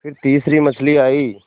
फिर तीसरी मछली आई